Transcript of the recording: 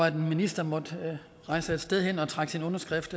en minister måtte rejse et sted hen og trække sin underskrift